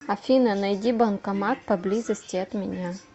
афина найди банкомат поблизости от меня